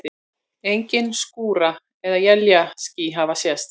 Engin skúra- eða éljaský hafa sést.